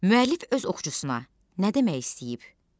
Müəllif öz oxucusuna nə demək istəyib?